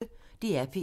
DR P1